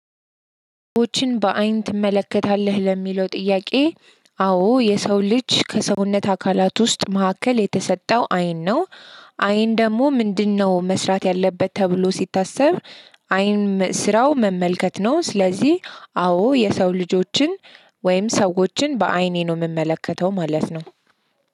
ወጪዎችን በአይን ትመለከታለህ? ለሚለው ጥያቄ አዎ የሰው ልጅ ከሰውነት አካላት ውስጥ ማዕከል የተሰጠው አይን ነው። አይን ደግሞ ምንድነው መስራት ያለበት ተብሎ ሲታሰብ አይን ስራው መመልከት ነው። ስለዚህ አዎ የሰው ልጆችን ወይም ሰዎችን በአይኔ ነው የምመለከተው ማለት ነው።